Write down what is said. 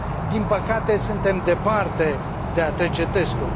Din păcate, suntem departe de a trece testul.